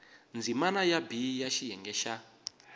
ndzimana b ya xiyenge xa